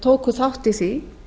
tóku þátt í því